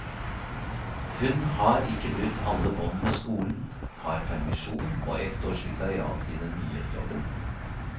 Hun har ikke brutt alle bånd med skolen, har permisjon og ett års vikariat i den nye jobben.